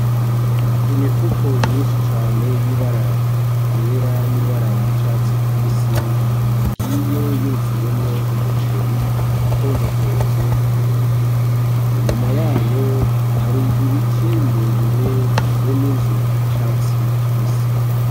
Imifuko myinshi cane y'ibara ryera n'ibara ry'icatsi kibisi igiye yuzuyemwo Umuceri itonzatonze k'umurongo, inyuma yayo hari ibiti birebire be n'inzu y'Icatsi kibisi.